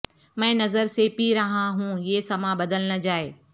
میں نظر سے پی رہا ہوں یہ سماں بدل نہ جائے